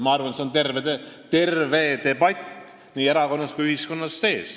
Ma arvan, et terve debatt peab toimuma nii erakonnas kui ka ühiskonnas.